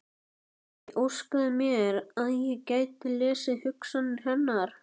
Ég óskaði mér að ég gæti lesið hugsanir hennar.